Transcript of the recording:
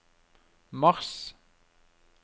mars